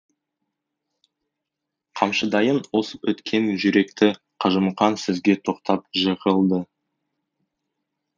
қамшыдайын осып өткен жүректі қажымұқан сөзге тоқтап жығылды